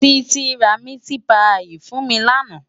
Titi rá miti páyi fún mi làná